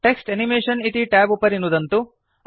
text animation इति tab उपरि नुदन्तु